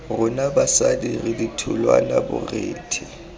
rona basadi re ditholwana borethe